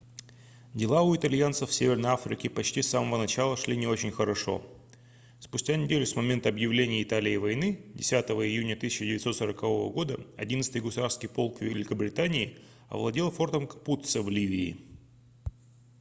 дела у итальянцев в северной африке почти с самого начала шли не очень хорошо спустя неделю с момента объявления италией войны 10 июня 1940 года 11-й гусарский полк великобритании овладел фортом капуццо в ливии